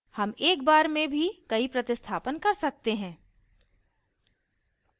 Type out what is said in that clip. हम एक बार में भी कई प्रतिस्थापन कर सकते हैं